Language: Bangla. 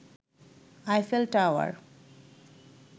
Eiffel tower